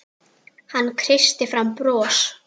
Hann kreisti fram bros.